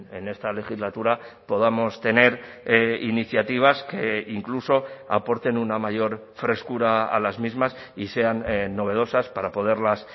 en esta legislatura podamos tener iniciativas que incluso aporten una mayor frescura a las mismas y sean novedosas para poderlas